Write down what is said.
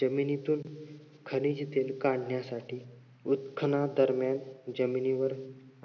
जमिनीतून खनिज तेल काढण्यासाठी उत्खनादरम्यान जमिनीवर